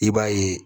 I b'a ye